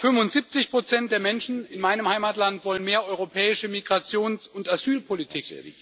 Aber 75 der Menschen in meinem Heimatland wollen mehr europäische Migrations und Asylpolitik.